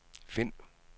find